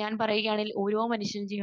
ഞാൻ പറയുകയാണ് ഓരോ മനുഷ്യന്റെയും